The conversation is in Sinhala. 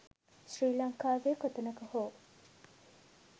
ශ්‍රී ලංකාවේ කොතැනක හෝ